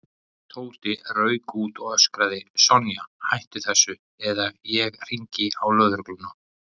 Tóti rauk út og öskraði: Sonja, hættu þessu eða ég hringi á lögregluna